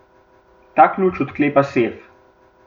Ta ključ odklepa sef.